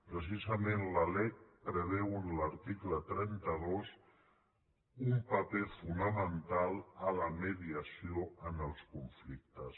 precisament la lec preveu en l’article trenta dos un paper fonamental per a la mediació en els conflictes